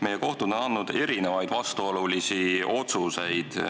Meie kohtud on andnud erinevaid vastuolulisi otsuseid.